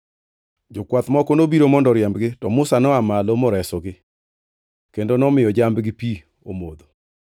Jokwath moko nobiro mondo oriembgi, to Musa noa malo moresogi kendo nomiyo jambgi pi omodho.